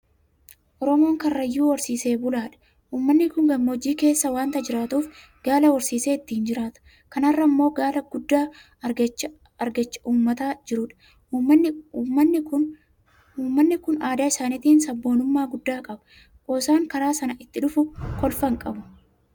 Oromoon karrayyuu horsiisee bulaadha. Uummanni kun gammoojjii keessa waanta jiraatuuf Gaala horsiisee ittiin jiraata. Kana irraa immoo galii guddaa argachaa uummata jirudha. Uummanni kun aadaa isaatiinis sabboonummaa guddaa qaba. Qoosaan karaa sanaa itti dhufu kolfa hinqabu.